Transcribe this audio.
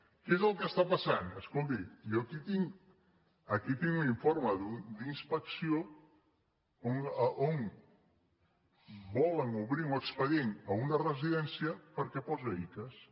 què és el que està passant escolti jo aquí tinc un in·forme d’inspecció on volen obrir un expedient a una residència perquè posa icass